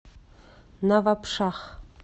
навабшах